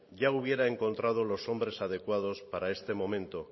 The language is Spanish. ya hubiera encontrado los hombres adecuados para este momento